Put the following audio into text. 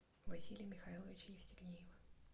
василия михайловича евстигнеева